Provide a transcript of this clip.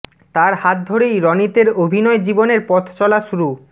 তার হাত ধরেই রণিতের অভিনয় জীবনের পথ চলা শুরু